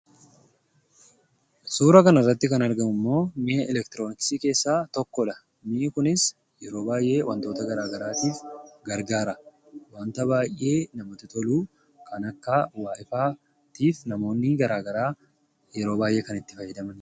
Suuraa kanarratti kan argamummoo mi'a elektiroonkisii keessaa tokkodha. Kunis yeroo baay'ee wantoota garaagaraaf gargaara. Fayidaa fayyaatiif namoonni baay'een yeroo hedduu itti fayyadamu.